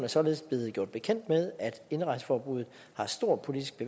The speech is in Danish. således blevet gjort bekendt med at indrejseforbuddet har stor politisk